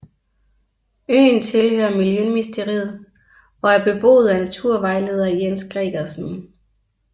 Øen tilhører Miljøministeriet og er beboet af naturvejleder Jens Gregersen